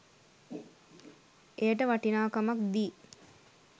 එයට වටිනාකමක් දී